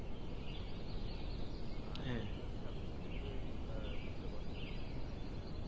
আহ আপনি নিশ্চয়ই আহ বুঝতে পারছেন ফাহিম ভাইয়া